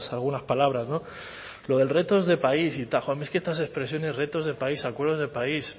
algunas palabras lo del retos de país y tal joe es que a mí estas expresiones retos de país acuerdos de país